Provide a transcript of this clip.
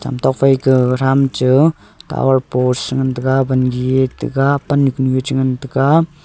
tokphai kaga katham cha tawar post ngan taga wan gi e taga pannu konu cha ngan taga.